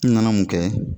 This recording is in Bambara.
N nana mun kɛ